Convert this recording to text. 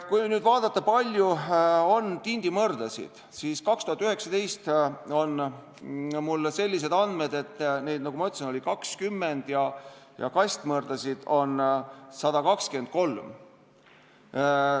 Kui nüüd vaadata, kui suur on väljapüük tindimõrdadega, siis 2019. aasta kohta on mul sellised andmed, et, nagu ma ütlesin, oli 20 tonni ja kastmõrdadega oli 123 tonni.